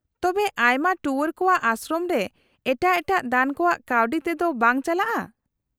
-ᱛᱚᱵᱮ ᱟᱭᱢᱟ ᱴᱩᱣᱟᱹᱨ ᱠᱚᱣᱟᱜ ᱟᱥᱨᱚᱢ ᱜᱮ ᱮᱴᱟᱜ ᱮᱴᱟᱜ ᱫᱟᱱ ᱠᱚᱣᱟᱜ ᱠᱟᱹᱣᱰᱤ ᱛᱮᱫᱚ ᱵᱟᱝ ᱪᱟᱞᱟᱜᱼᱟ ?